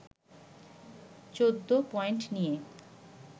১৪ point নিয়ে